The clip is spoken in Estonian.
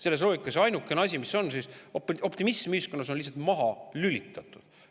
Selles loogikas on ainukese asjana optimism ühiskonnas lihtsalt maha.